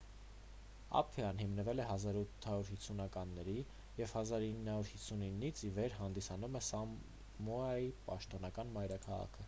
ափիան հիմնվել է 1850-ականներին և 1959-ից ի վեր հանդիսանում է սամոայի պաշտոնական մայրաքաղաքը